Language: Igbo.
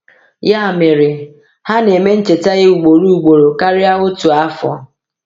Ya mere, ha na-eme ncheta ya ugboro ugboro karịa otu afọ.